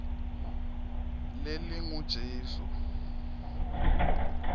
lelingujesu